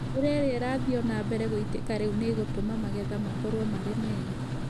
Mbura iria irathiĩ o na mbere gũitĩka rĩu nĩ ĩgũtũma magetha makorũo marĩ mega.